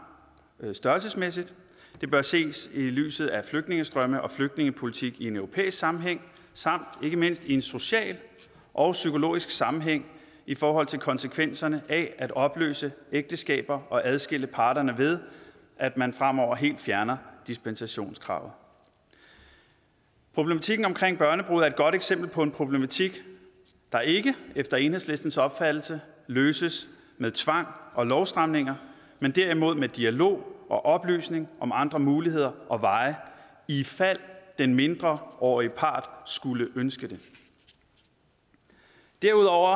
størrelsesmæssigt og det bør ses i lyset af flygtningestrømme og flygtningepolitik i en europæisk sammenhæng samt ikke mindst i en social og psykologisk sammenhæng i forhold til konsekvenserne af at opløse ægteskaber og adskille parterne ved at man fremover helt fjerner dispensationskravet problematikken omkring børnebrude er et godt eksempel på en problematik der ikke efter enhedslistens opfattelse løses med tvang og lovstramninger men derimod med dialog og oplysning om andre muligheder og veje ifald den mindreårige part skulle ønske det derudover